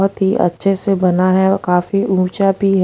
बहुत ही अच्छे से बना है और काफी ऊंचा भी--